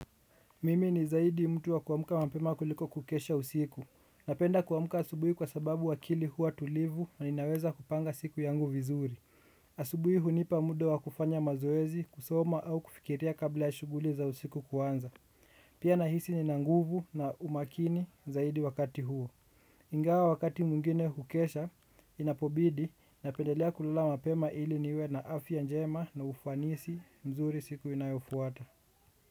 Mimi ni zaidi mtu wa kuamka mapema kuliko kukesha usiku. Napenda kuamka asubuhi kwa sababu akili huwa tulivu na inaweza kupanga siku yangu vizuri. Asubuhi hunipa mude wa kufanya mazoezi, kusoma au kufikiria kabla ya shughuli za usiku kuanza. Pia na hisi ninanguvu na umakini zaidi wakati huo. Ingawa wakati mwingine hukesha, inapobidi, napendelea kulala mapema ili niwe na afya njema na ufanisi mzuri siku inayofuata.